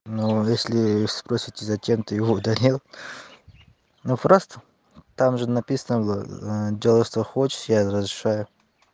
но если спросит тебя зачем ты его удалил но просто там же написано было делай что хочешь я разрешаю